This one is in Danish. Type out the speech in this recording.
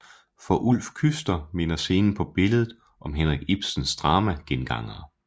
For Ulf Küster minder scenen på billedet om Henrik Ibsens drama Gengangere